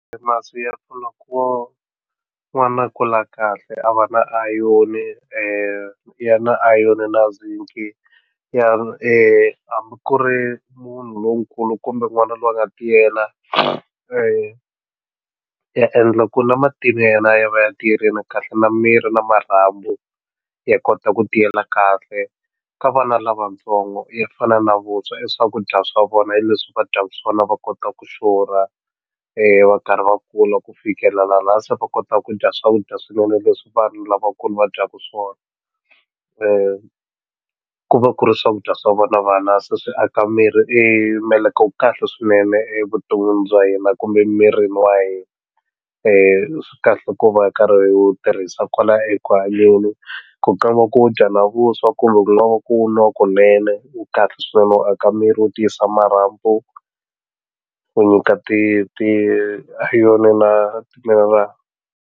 Masi ya pfuna ku n'wana a kula kahle a va na iron ya na zinc na ya hambi ku ri munhu lonkulu kumbe n'wana loyi a nga tiyela ya endla ku na matinyo ya yena ya va ya tiyerini kahle na miri na marhambu ya kota ku tiyela kahle ka vana lavatsongo ya fana na vuswa i swakudya swa vona hi leswi va dyaku swona va kota ku xurha va karhi va kula ku fikela la se va kotaka ku dya swakudya swinene leswi vanhu lavakulu va dyaku swona ku va ku ri swakudya swa vona vana se swi aka miri meleke wu kahle swinene evuton'wini bya hina kumbe mirini wa hina swi kahle ku va karhi hi wu tirhisa kwala eku hanyeni ku nga va ku wu dya na vuswa kumbe ku nga va ku wu nwa kunene wu kahle swinene u aka miri wu tiyisa marhambu wu nyika ti ti na ti-mineral.